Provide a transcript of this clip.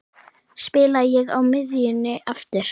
Spila ég á miðjunni aftur?